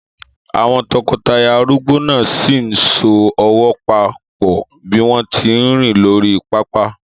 Àwọn tọkọtaya arúgbó náà sì ń so ọwọ́ papọ̀ bí wọ́n tí ń rìn lórí pápá.